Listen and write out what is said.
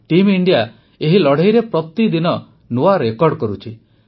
Team India ଏହି ଲଢ଼େଇରେ ପ୍ରତିଦିନ ନୂଆ ରେକର୍ଡ କରୁଛି